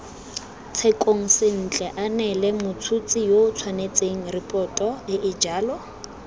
tshekong sentle aneelemots huts hisiyootshwanetsengripotoeejalo